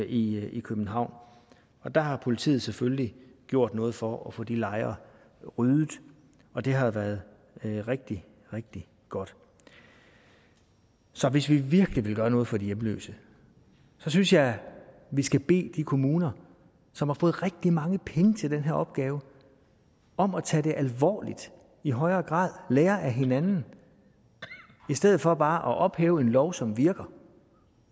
i københavn og der har politiet selvfølgelig gjort noget for at få de lejre ryddet og det har været rigtig rigtig godt så hvis vi virkelig vil gøre noget for de hjemløse synes jeg vi skal bede de kommuner som har fået rigtig mange penge til den her opgave om at tage det alvorligt i højere grad og lære af hinanden i stedet for bare at ophæve en lov som virker